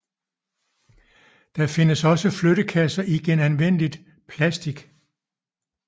Der findes også flyttekasser i genanvendeligt plastik